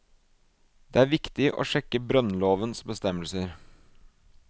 Det er viktig å sjekke brønnlovens bestemmelser.